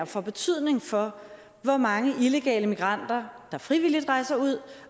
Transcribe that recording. får betydning for hvor mange illegale migranter der frivilligt rejser ud